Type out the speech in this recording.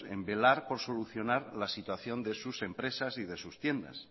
en velar por solucionar la situación de sus empresas y de sus tiendas